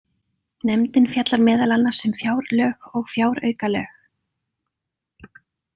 Nefndin fjallar meðal annars um fjárlög og fjáraukalög.